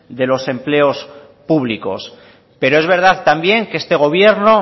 de los empleos públicos pero es verdad también que este gobierno